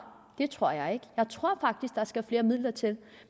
det tror jeg ikke jeg tror faktisk der skal flere midler til